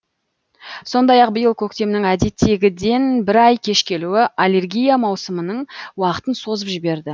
сондай ақ биыл көктемнің әдеттегіден бір ай кеш келуі аллергия маусымының уақытын созып жіберді